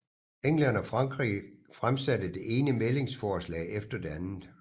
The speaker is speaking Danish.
England og Frankrig fremsatte det ene mæglingsforslag efter det andet